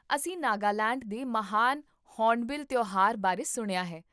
ਅਸੀਂ ਨਾਗਾਲੈਂਡ ਦੇ ਮਹਾਨ ਹੌਰਨਬਿਲ ਤਿਉਹਾਰ ਬਾਰੇ ਸੁਣਿਆ ਹੈ